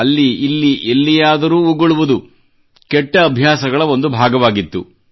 ಅಲ್ಲಿಇಲ್ಲಿ ಎಲ್ಲಿಯಾದರೂ ಉಗುಳುವುದು ಕೆಟ್ಟ ಅಭ್ಯಾಸಗಳ ಒಂದು ಭಾಗವಾಗಿತ್ತು